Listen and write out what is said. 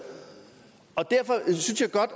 derfor synes jeg